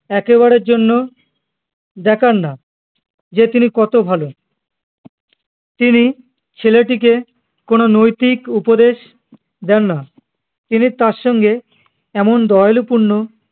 একবারের জন্য দেখান না যে তিনি কতো ভালো তিনি ছেলেটিকে কোনো নৈতিক উপদেশ দেননা তিনি তার সঙ্গে এমন দয়ালু পূর্ণ